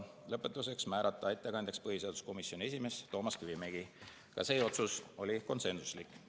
Lõpetuseks, määrata ettekandjaks põhiseaduskomisjoni esimees Toomas Kivimägi, ka see otsus oli konsensuslik.